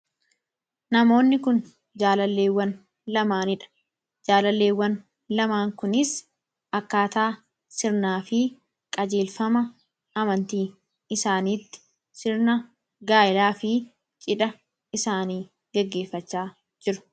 namoonni kun jaalaleewwan lamaaniidha jaalaleewwan lamaan kunis akkaataa sirnaa fi qajeelfama amantii isaaniitti sirna gaalaa fi cidha isaanii geggeeffachaa jiru